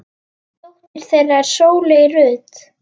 Dóttir þeirra er Sóley Rut.